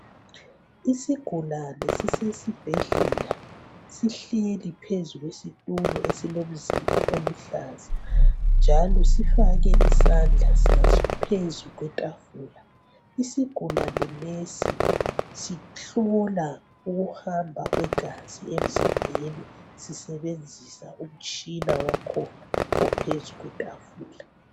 Isigulane sisesibhedlela sihleli phezu kwesitulo esilomzila oluhlaza njalo sifake isandla saso phezu kwetafula. Isigulane lesi sihlula ukuhamba kwegazi emzimbeni sisebenzisa umtshina wakhona ophezu kwetafula.